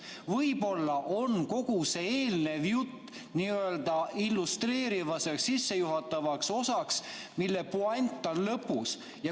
Võib-olla on kogu see eelnev jutt n‑ö illustreerivaks, sissejuhatavaks osaks, mille puänt on lõpus.